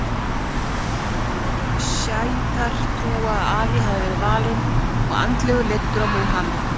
Sjítar trúa að Ali hafi verið valinn og andlega leiddur af Múhameð.